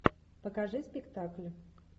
покажи спектакль